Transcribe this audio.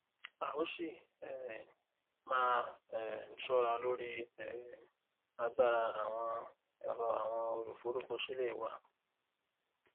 a o si um maa um ṣọra lori um agbara awọn ẹrọ awọn oluforukọsilẹ wa